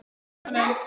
spyr hann enn.